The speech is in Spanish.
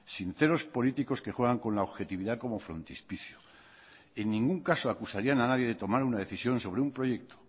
sinceros políticos que juegan con la objetividad como frontispicio en ningún caso acusarían a nadie de tomar una decisión sobre un proyecto